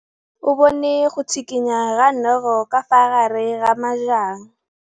O bone go tshikinya ga noga ka fa gare ga majang.